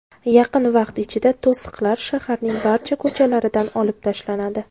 Yaqin vaqt ichida to‘siqlar shaharning barcha ko‘chalaridan olib tashlanadi.